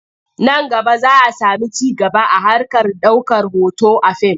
Nan gaba za a sami ci gaba a harkar ɗaukar hoto a fim.